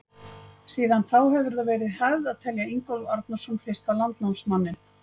Síðan þá hefur það verið hefð að telja Ingólf Arnarson fyrsta landnámsmanninn.